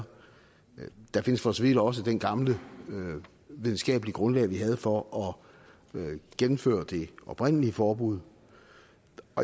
der findes for så vidt også det gamle videnskabelige grundlag vi havde for at gennemføre det oprindelige forbud